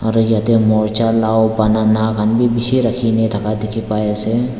aru yatae morja lao banana khan bi bishi rakhine thaka dikhipaiase.